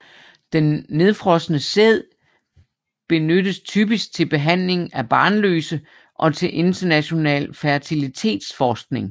Den nedfrosne sæd benyttes typisk til behandling af barnløse og til international fertilitetsforskning